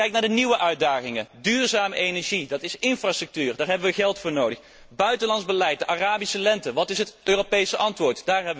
Wat zijn de nieuwe uitdagingen? Duurzame energie dat betekent infrastructuur en daar hebben we geld voor nodig buitenlands beleid de Arabische lente wat is het Europese antwoord?